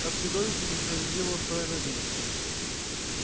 как чудовищно несправедливо устроена жизнь